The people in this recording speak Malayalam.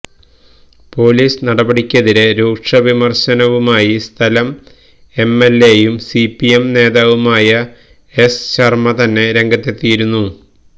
പൊലീസ് നടപടിക്കെതിരെ രൂക്ഷ വിമര്ശനവുമായി സ്ഥലം എംഎല്എയും സിപിഎം നേതാവുമായ എസ് ശര്മ തന്നെ രംഗത്തെത്തിയിരുന്നു